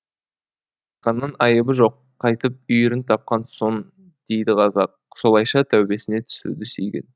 ақанның айыбы жоқ қайтып үйірін тапқан соң дейді қазақ солайша тәубесіне түсуді сүйген